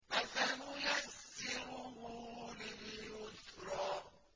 فَسَنُيَسِّرُهُ لِلْيُسْرَىٰ